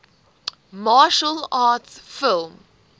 martial arts film